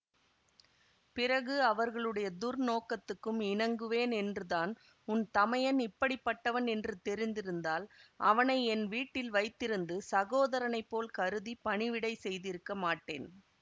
பிறகு அவர்களுடைய துர்நோக்கத்துக்கும் இணங்குவேன் என்றுதான் உன் தமையன் இப்படி பட்டவன் என்று தெரிந்திருந்தால் அவனை என் வீட்டில் வைத்திருந்து சகோதரனைப் போல் கருதி பணிவிடை செய்திருக்க மாட்டேன்